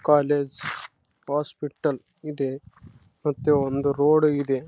ಆ ಸ್ಕೂಲ್ ಆದ ಆ ಸ್ಕೂಲ್ ಗ ಮಕ್ಕಳು ಓದಕ್ಕೆ ಬರ್ತಾರಾ.